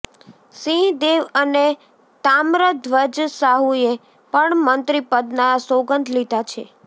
સિંહ દેવ અને તામ્રધ્વજ સાહુએ પણ મંત્રીપદના સોગંધ લીધા છે